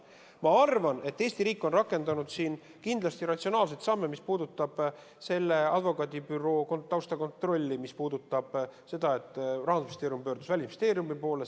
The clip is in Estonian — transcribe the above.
Ma arvan, et Eesti riik on astunud ratsionaalseid samme, mis puudutavad selle advokaadibüroo taustakontrolli, mis puudutavad seda, et Rahandusministeerium pöördus Välisministeeriumi poole.